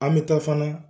An bɛ taa fana